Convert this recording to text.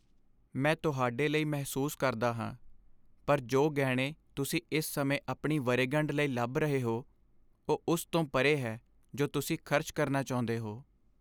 ਮੈਂ ਤੁਹਾਡੇ ਲਈ ਮਹਿਸੂਸ ਕਰਦਾ ਹਾਂ, ਪਰ ਜੋ ਗਹਿਣੇ ਤੁਸੀਂ ਇਸ ਸਮੇਂ ਆਪਣੀ ਵਰ੍ਹੇਗੰਢ ਲਈ ਲੱਭ ਰਹੇ ਹੋ, ਉਹ ਉਸ ਤੋਂ ਪਰੇ ਹੈ ਜੋ ਤੁਸੀਂ ਖ਼ਰਚ ਕਰਨਾ ਚਾਹੁੰਦੇ ਹੋ।